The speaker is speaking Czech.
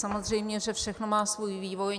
Samozřejmě, že všechno má svůj vývoj.